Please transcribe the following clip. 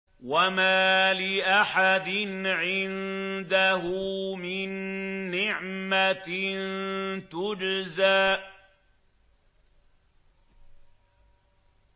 وَمَا لِأَحَدٍ عِندَهُ مِن نِّعْمَةٍ تُجْزَىٰ